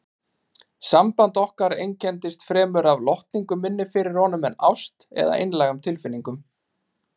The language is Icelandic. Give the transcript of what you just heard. Samband okkar einkenndist fremur af lotningu minni fyrir honum en ást eða einlægum tilfinningum.